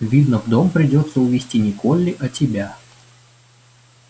видно в дом придётся увести не колли а тебя